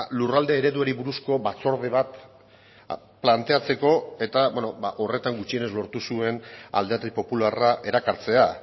lurralde ereduari buruzko batzorde bat planteatzeko eta horretan gutxienez lortu zuen alderdi popularra erakartzea